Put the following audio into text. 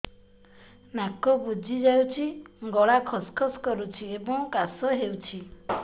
ନାକ ବୁଜି ଯାଉଛି ଗଳା ଖସ ଖସ କରୁଛି ଏବଂ କାଶ ହେଉଛି